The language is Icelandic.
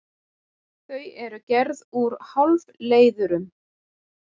Þau eru gerð úr hálfleiðurum.